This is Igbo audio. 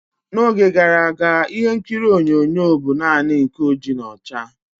N'oge gara aga, ịhe nkiri onyonyo bụ naanị nke oji na ọcha.